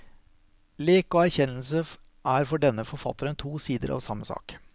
Lek og erkjennelse er for denne forfatteren to sider av samme sak.